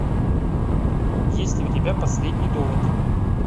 есть ли у тебя последний довод